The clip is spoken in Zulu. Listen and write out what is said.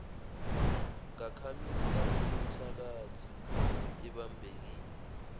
ngakhamisa okomthakathi ebambekile